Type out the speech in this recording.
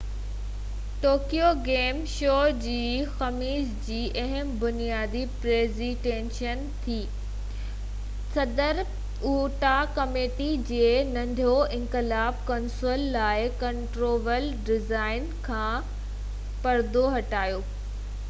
Tokyo game show جي خميس جي اهم بنياندي پريزنٽيشن تي ننٽينڊو صدر سيٽورو اواٽا ڪمپني جي ننٽينڊو انقلاب ڪنسول لاءِ ڪنٽرولر ڊيزائن کان پردو هٽايو